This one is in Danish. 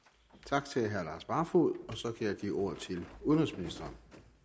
tak til herre lars barfoed så kan jeg give ordet til udenrigsministeren